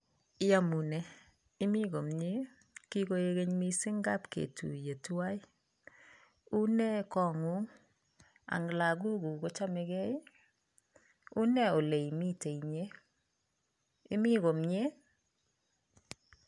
Iamune imii komyei ii kingoek keeny missiñg kaab ketuyee tuan unee koo nguung Ani lagook guul kochamei gei ii unee ole imiten inyei imii komyei ii